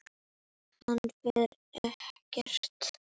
Hann fer ekkert.